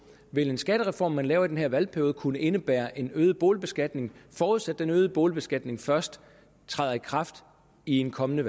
vil en skattereform man laver i den her valgperiode kunne indebære en øget boligbeskatning forudsat den øgede boligbeskatning først træder i kraft i en kommende